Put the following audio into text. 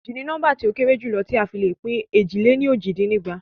Éjì ni nóḿbà ti o kéré jù ti a le fi pin éjì lè ní ójì dín ní ẹgbàá.